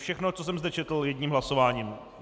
Všechno, co jsem zde četl, jedním hlasováním.